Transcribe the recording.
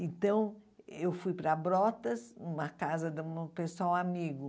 Então, eu fui para Brotas, uma casa de um pessoal amigo.